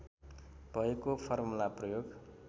भएको फर्मुला प्रयोग